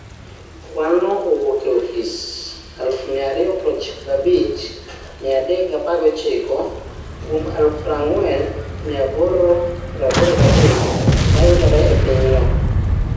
Kwanno owuok e ofise 295,319 kuom 40,883 mayudore e pinyno.